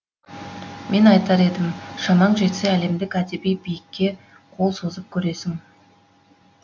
мен айтар едім шамаң жетсе әлемдік әдеби биікіке қол созып көресің